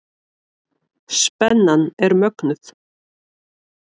Spennan er mögnuð.